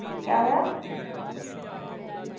ਕਿਆ ਹੋਇਆ